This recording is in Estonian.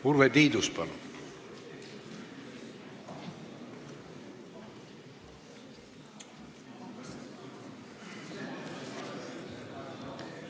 Urve Tiidus, palun!